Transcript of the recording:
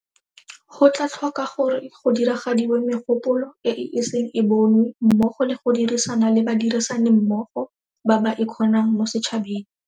Go tla tlhoka gore go diragadiwe megopolo e e iseng e bonwe mmogo le go dirisana le badirisanimmogo ba ba ikgonang mo setšhabeng.